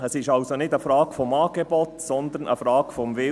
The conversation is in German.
Es ist also nicht eine Frage des Angebots, sondern eine Frage des Willens.